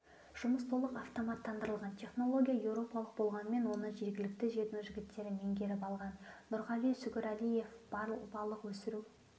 жұмыс толық автоматтандырылған технология еуропалық болғанымен оны жергілікті жердің жігіттері меңгеріп алған нұрғали сүгірәлиев балық өсіру